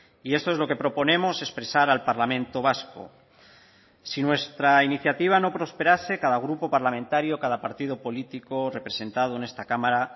y esto es lo que proponemos expresar al parlamento vasco si nuestra iniciativa no prosperase cada grupo parlamentario cada partido político representado en esta cámara